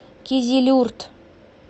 кизилюрт